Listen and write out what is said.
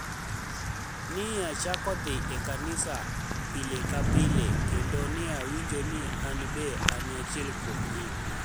ni e achako dhi e kaniisa pili ka pile kenido ni e awinijo nii ani benide ani achiel kuomgi.